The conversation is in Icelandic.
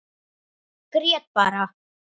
Grét bara.